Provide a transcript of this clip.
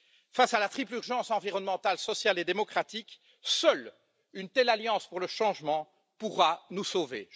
Face à la triple urgence environnementale, sociale et démocratique, seule une telle alliance pour le changement pourra nous sauver.